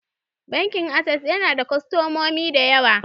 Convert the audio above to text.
Bankin Ases yana da kostomomi da yawa.